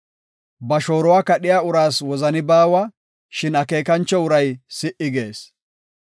Ba shooruwa kadhiya uraas wozani baawa; shin akeekancho uray si77i gees.